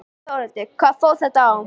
Þórhildur: Hvað fór þetta á?